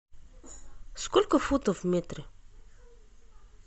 сколько футов в метре